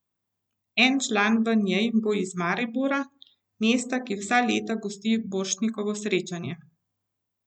En član v njej bo iz Maribora, mesta, ki vsa leta gosti Borštnikovo srečanje.